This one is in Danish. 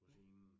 Ja